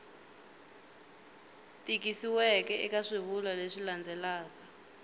tikisiweke eka swivulwa leswi landzelaka